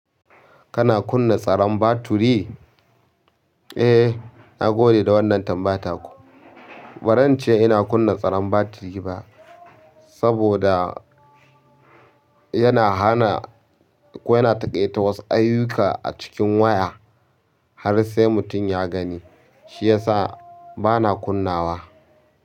Kana kunna tsaron baturi? Eh, na gode da wannan tambaya taku. Ba zan ce ina kunna tsaron baturi ba saboda yana hana ko yana taƙaita wasu ayyuka a cikin waya har sai mutum ya gani. Shi ya sa ba na kunnawa.